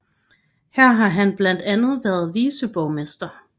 Her har han blandt andet været viceborgmester